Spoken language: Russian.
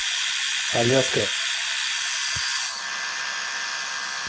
аляска